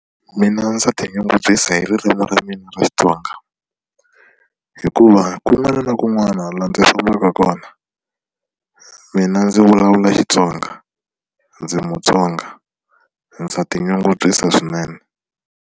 Mina ndza tinyungubyisa hi ririmi ra mina ra Xitsonga hikuva kun'wana na kun'wana laha ndzi fambaka kona mina ndzi vulavula Xitsonga ndzi Mutsonga ndza tinyungubyisa swinene.